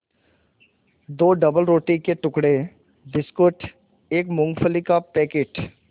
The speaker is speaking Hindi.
दो डबलरोटी के टुकड़े बिस्कुट एक मूँगफली का पैकेट